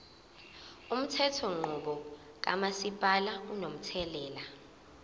umthethonqubo kamasipala unomthelela